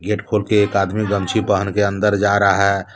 Gate खोल के एक आदमी गमछी पहन के अंदर जा रहा है।